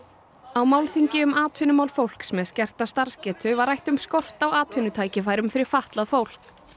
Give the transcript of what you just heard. á málþingi um atvinnumál fólks með skerta starfsgetu var rætt um skort á atvinnutækifærum fyrir fatlað fólk